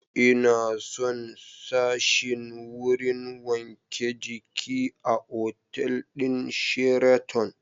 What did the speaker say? Ina son sashin wurin wanke jiki a otal ɗin Sheraton